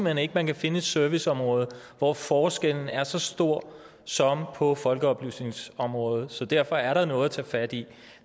hen ikke man kan finde et serviceområde hvor forskellen er så stor som på folkeoplysningsområdet så derfor er der noget at tage fat i